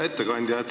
Hea ettekandja!